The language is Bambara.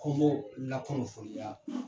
An b'o lakunnafoniya.